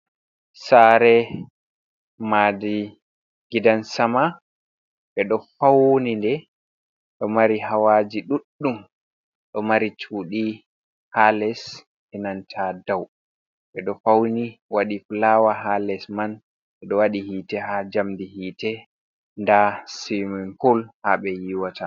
"Saare" madi gidansama ɓeɗo fauni nde ɗo mari hawaji ɗuɗɗum do mari chuɗi ha les enanta dou ɓeɗo fauni waɗi fulaawa ha les man ɓeɗo wadi hiite ha jamɗe hite nda simin pul ha ɓe yiwata.